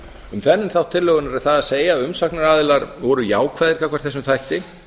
um þennan þátt tillögunnar er það að segja að umsagnaraðilar voru jákvæðir gagnvart þessum þætti